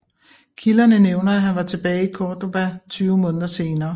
Kilderne nævner at han var tilbage i Córdoba 20 måneder senere